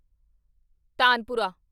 tanpura